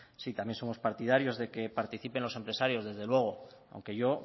sí también somos partidarios de que participen los empresarios desde luego aunque yo